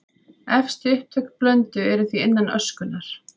Efstu upptök Blöndu eru því innan öskunnar.